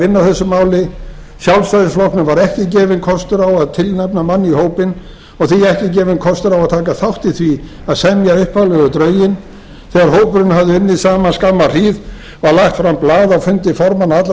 vinna að þessu máli sjálfstæðisflokknum var ekki gefinn kostur á að tilnefna mann í hópinn og því ekki gefinn kostur á að taka þátt í því að semja upphaflegu drögin þegar hópurinn hafði unnið saman skamma hríð var lagt fram blað á fundi formanna allra